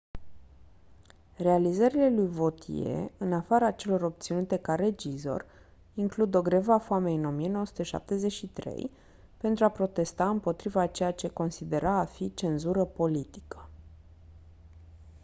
realizările lui vautier în afara celor obținute ca regizor includ o grevă a foamei în 1973 pentru a protesta împotriva a ceea ce considera a fi cenzură politică